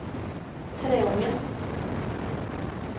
Treungen